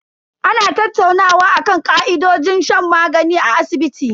Ana tattaunawa akan ka'idojin shan magani a asibiti.